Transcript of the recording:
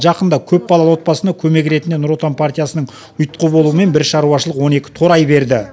жақында көпбалалы отбасына көмек ретінде нұр отан партиясының ұйытқы болуымен бір шаруашылық он екі торай берді